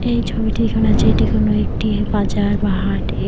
এই ছবিটি এখানে আছে এটি কোন একটি বাজার বা হাটের।